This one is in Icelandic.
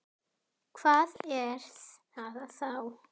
Hvað er það þá?